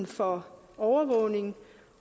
for overvågning